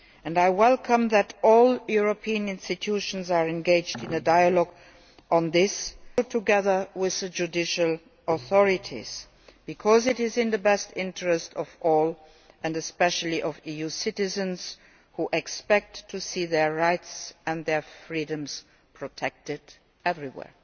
I welcome the fact that all European institutions are engaged in a dialogue on this, together with the judicial authorities, because it is in the best interests of all and especially of EU citizens, who expect to see their rights and their freedoms protected everywhere.